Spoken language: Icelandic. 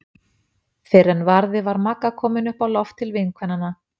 Fyrr en varði var Magga komin upp á loft til vinkvennanna.